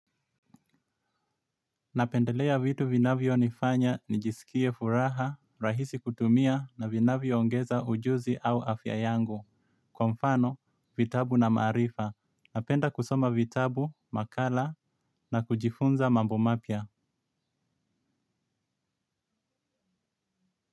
Napendelea vitu vinavyo nifanya nijisikie furaha, rahisi kutumia na vinavyo ongeza ujuzi au afya yangu. Kwa mfano, vitabu na maarifa. Napenda kusoma vitabu, makala na kujifunza mambo mapya.